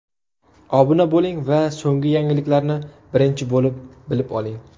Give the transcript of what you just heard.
Obuna bo‘ling va so‘nggi yangiliklarni birinchi bo‘lib bilib oling!